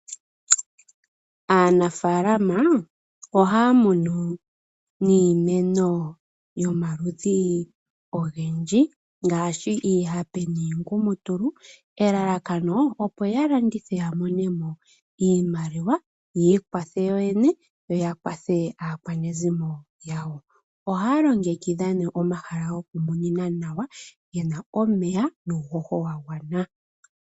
Aanafaalama ohayabkunu iimeno yomaludhi ogendji ngaashi iihape niingumutulu . Elalakano opo ya landithe ya monemo iimaliwa, yi ikwathe yotene yo yakwathe aakwanezimo yawo. Ohaya longekidha nee omahala goku kuna nawa gena omeya nuuhoho wagwana.